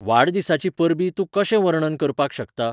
वाडदिसाचीं परबीं तूं कशें वर्णन करपाक शकता ?